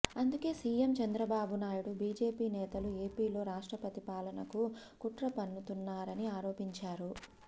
అందుకే CM Chandrababu Naidu BJP నేతలు ఏపీలో రాష్ట్రపతి పాలనకు కుట్రపన్నుతున్నారని ఆరోపించారు